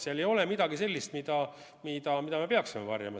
Seal ei ole midagi sellist, mida me peaksime varjama.